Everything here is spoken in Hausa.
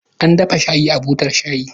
An dafa shayin a butar shayi